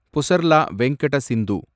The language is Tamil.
புசர்லா வெங்கட சிந்து